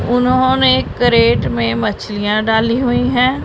उन्होंने कैरेट में मछलियां डाली हुई है।